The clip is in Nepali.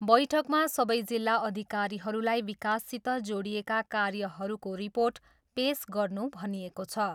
बैठकमा सबै जिल्ला अधिकारीहरूलाई विकाससित जोडिएका कार्यहरूको रिर्पोट पेस गर्नू भनिएको छ।